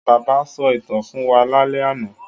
Bàbá-ìy sọ ìtàn fún wa lálẹ́ àná.